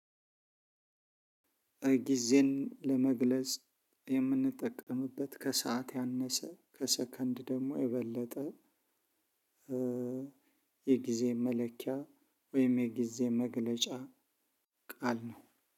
ጊዜን ለመግለጽ የምንጠቀምበት ከሰአት ያነሰ ከሰከንድ ደግሞ የበለጠ የጊዜ መለኪያ ወይም የጊዜ መግለጫ ቃል ነው።